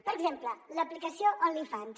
per exemple l’aplicació onlyfans